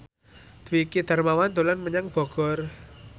Dwiki Darmawan dolan menyang Bogor